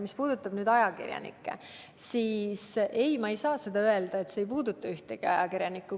Mis puudutab ajakirjanikke, siis ma ei saa öelda, et see ei puuduta ühtegi ajakirjanikku.